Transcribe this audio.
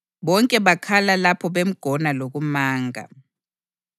Bonke bakhala lapho bemgona lokumanga.